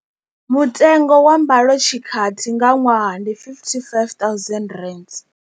Mutengo wa mbalotshikati nga ṅwaha ndi R55 000.